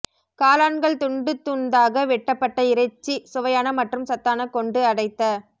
காளான்கள் துண்டு துண்தாக வெட்டப்பட்ட இறைச்சி சுவையான மற்றும் சத்தான கொண்டு அடைத்த